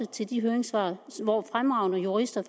til de høringssvar hvor fremragende jurister